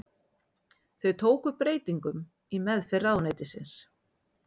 Þau tóku breytingum í meðferð ráðuneytisins